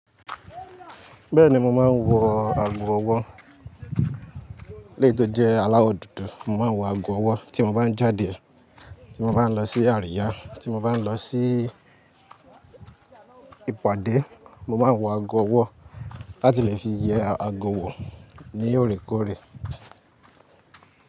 Bẹ́ẹ̀ni mo máa ń wọ ago ọwọ́. Léè tó jẹ́ aláwọ̀ dúdú, mo máa ń wọ ago ọwọ́ tí mo bá ń jáde, tí mo bá ń lọ sí àríyá, tí mo bá ń lọ sí ìpàdé, mo máa ń wọ ago ọwọ́ láti lè fi yẹ ago wọ̀ ní òrékọ́ọ̀rẹ́.